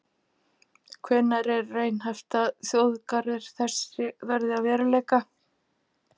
Hvenær er raunhæft að þjóðgarður þessi verði að veruleika?